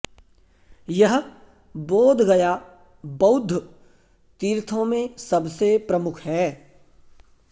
यह बोधगया बौद्ध तीर्थो में सबसे प्रमुख है